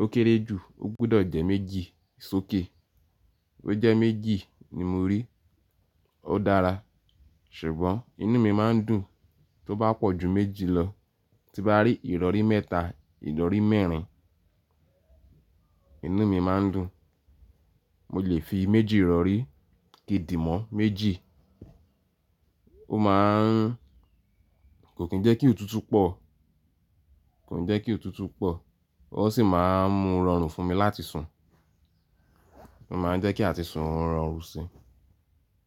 ó kéré jù, ó gbudọ̀ jẹ́ méjì, sókè. Bí ó jẹ́ méjì ni mo rí, ó dára. Ṣùgbọ́n inú mi máa ń dùn, tó bá pọ̀ ju méjì lọ, tí n bá rí ìrọ̀rí mẹ́ta, ìrọ̀rí mẹ́rin, inú mi máa ń dùn. Mo lè fi méjì ìrọ̀rí, kìndì mọ́ méjì, ó máa ń kò kí n jẹ́ kí òtútù pọ̀, kò n jẹ́ kí òtútù pọ̀, ó sì máa ń mú rorun fún mi láti sùn. Ó máa ń jẹ́ kí àti sùn o rorun si.